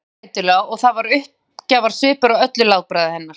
Hún stundi þreytulega og það var uppgjafarsvipur á öllu látbragði hennar.